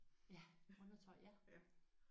Ja undertøj ja